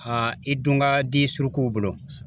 Han i dun ka di surukuw bolo